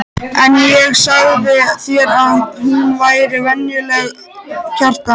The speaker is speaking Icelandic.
En ég sagði þér að hún væri væntanleg, Kjartan.